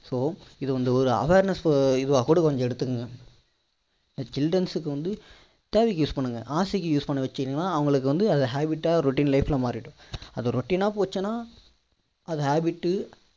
so இதை ஒரு awareness இதுவா கூட எடுத்துக்கோங்க childrens க்கு வந்து தேவைக்கு use பண்ணுங்க ஆசைக்கு பண்ண வச்சிங்கன்னா அவங்களுக்கு வந்து அது habit டா routine life ல மாறிடும் அது routine னா போச்சுனா அது habit